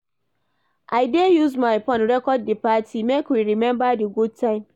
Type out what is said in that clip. I dey use my phone record di party, make we remember di good time.